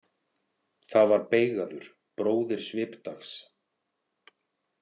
Það var Beigaður, bróðir Svipdags.